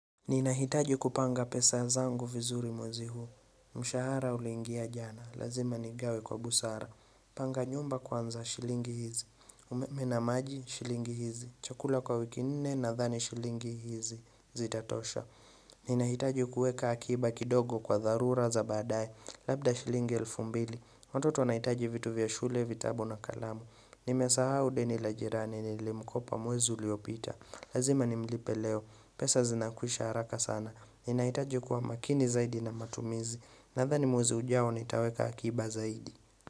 Ninahitaji kupanga pesa zangu vizuri mwezi huu, mshahara ulingia jana, lazima nigawe kwa busara Panganyumba kwanza shilingi hizi, umeme na maji shilingi hizi, chakula kwa wiki nne nadhani shilingi hizi, zitatosha Ninahitaji kuweeka akiba kidogo kwa dharura za badaye, labda shilingi elfu mbili, watoto wanahitaji vitu vya shule, vitabu na kalamu Nimesahau deni la jirani lenye nilimkopa mwezi uliopita Lazima nimlipe leo pesa zinakwisha haraka sana ninaitaji kuwa makini zaidi na matumizi Nadhani mwezi ujao nitaweka akiba zaidi.